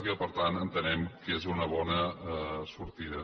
i que per tant entenem que és una bona sortida